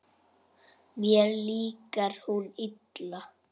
Mér líkar hún illa.